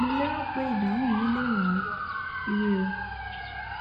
mo lérò pé ìdáhùn mi lè ràn ọ lọwọ ire o